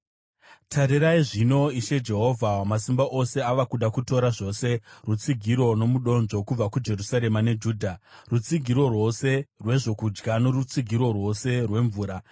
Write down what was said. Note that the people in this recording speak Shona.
Tarirai zvino, Ishe Jehovha Wamasimba Ose ava kuda kutora zvose rutsigiro nomudonzvo, kubva kuJerusarema neJudha; rutsigiro rwose rwezvokudya norutsigiro rwose rwemvura,